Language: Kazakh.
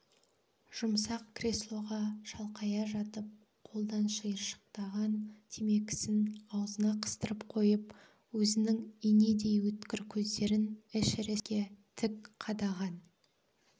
жұмсақ креслоға шалқая жатып қолдан шиыршықтаған темекісін аузына қыстырып қойып өзінің инедей өткір көздерін эшерестке тік қадаған